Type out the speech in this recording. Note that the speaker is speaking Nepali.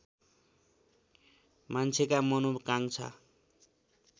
मान्छेका मनोकाङ्क्षा